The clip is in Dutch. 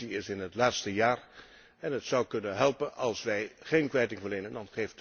De Commissie is in het laatste jaar en het zou kunnen helpen als wij geen kwijting verlenen.